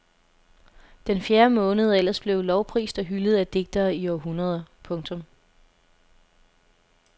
Den fjerde måned er ellers blevet lovprist og hyldet af digtere i århundreder. punktum